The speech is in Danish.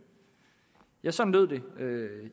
ja sådan lød det